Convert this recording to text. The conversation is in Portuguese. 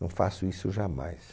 Não faço isso jamais.